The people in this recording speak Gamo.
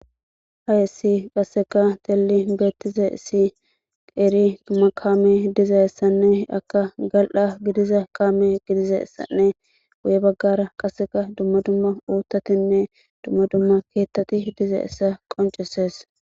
hayessi qasseka xelli beettiza issi Qeeri dumma kaame diza issanne akka gal'a gidiza kaame gidiza issanne guye baggara qasseka dumma dumma uuttatinne dumma dumma keettati dizayissa qonceses